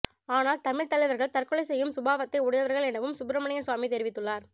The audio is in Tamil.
ஆனால் தமிழ் தலைவர்கள் தற்கொலை செய்யும் சுபாவத்தை உடையவர்கள் எனவும் சுப்பிரமணியன் சுவாமி தெரிவித்துள்ளார்